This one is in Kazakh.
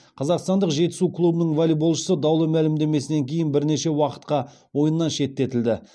қазақстандық жетісу клубының волейболшысы даулы мәлімдемесінен кейін бірнеше уақытқа ойыннан шеттетілді